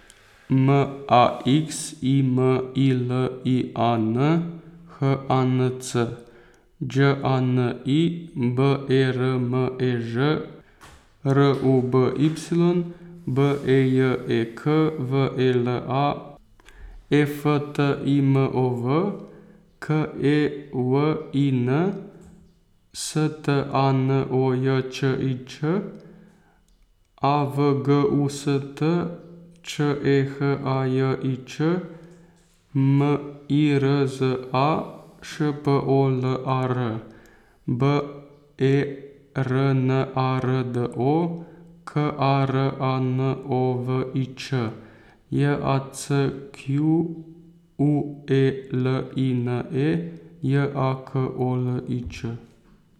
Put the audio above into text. M A X I M I L I A N, H A N C; Đ A N I, B E R M E Ž; R U B Y, B E J E K; V E L A, E F T I M O V; K E W I N, S T A N O J Č I Ć; A V G U S T, Č E H A J I Ć; M I R Z A, Š P O L A R; B E R N A R D O, K A R A N O V I Ć; J A C Q U E L I N E, J A K O L I Č.